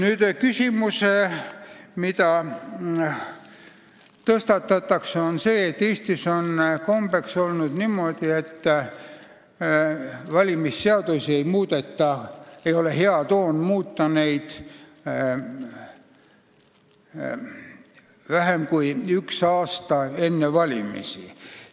Üks küsimus, mida tõstatatakse, on see, et Eestis on kombeks olnud niimoodi, et valimisseadusi ei ole hea toon muuta vähem kui üks aasta enne valimisi.